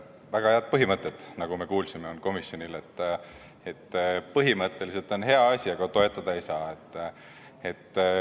Komisjonil on väga head põhimõtted, nagu me kuulsime: põhimõtteliselt on hea asi, aga toetada ei saa.